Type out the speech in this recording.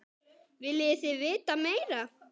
Viljið þið vita meira?